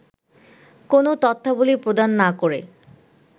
কোন তথ্যাবলি প্রদান না করে